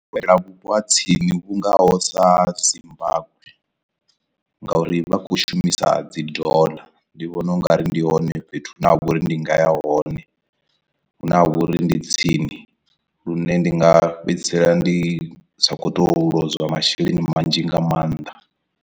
Vhupo ha tsini vhungoho sa Zimbagwe, ngauri vha khou shumisa dzi dollar ndi vhona ungari ndi hone fhethu hune ha vha uri ndi nga ya hone hune ha vha uri ndi tsini lune ndi nga fhedzisela ndi sa khou tou lozwa masheleni manzhi nga maanḓa.